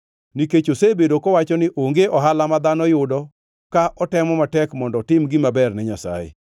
Nikech osebedo kowacho ni, ‘Onge ohala ma dhano yudo, ka otemo matek mondo otim gima ber ne Nyasaye!’